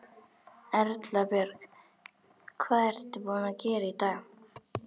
Erla Björg: Hvað ert þú búin að gera í dag?